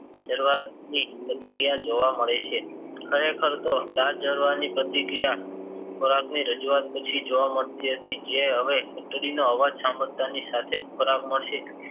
શરુવાતની પ્રતિક્રિયા જોવબા મળે હે ખરેખરતો લાળ જરવાની પ્રતિક્રિયા ખોરાકની રજુવાત પછી જોવા મળતી હતી જે હવે ઘંટડીનો અવાજ સંભારતાં ની સાથે જ ખોરાક મળશે